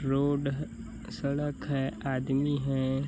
Road ह सड़क है आदमी हैं।